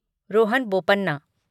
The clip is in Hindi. रोहन बोपन्ना